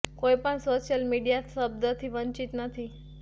કોઈ પણ social media થી શબ્દ થી વંચિત નહિ